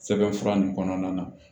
Sɛbɛn fura nin kɔnɔna na